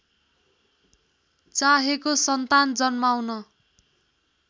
चाहेको सन्तान जन्माउन